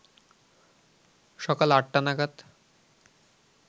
সকাল আটটা নাগাদ